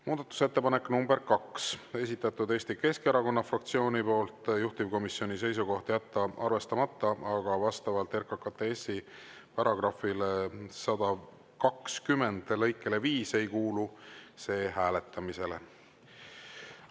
Muudatusettepanek nr 2, esitanud Eesti Keskerakonna fraktsioon, juhtivkomisjoni seisukoht on jätta arvestamata, aga vastavalt RKKTS‑i § 120 lõikele 5 ei kuulu see hääletamisele.